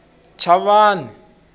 chavani